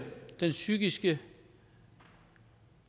den psykiske